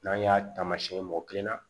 N'an y'a taamasiyɛ mɔgɔ kelen na